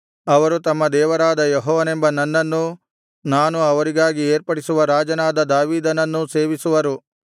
ಅವರು ತಮ್ಮ ದೇವರಾದ ಯೆಹೋವನೆಂಬ ನನ್ನನ್ನೂ ನಾನು ಅವರಿಗಾಗಿ ಏರ್ಪಡಿಸುವ ರಾಜನಾದ ದಾವೀದನನ್ನೂ ಸೇವಿಸುವರು